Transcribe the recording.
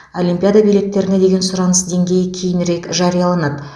олимпиада билеттеріне деген сұраныс деңгейі кейінірек жарияланады